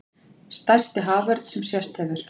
Stærsti haförn sem sést hefur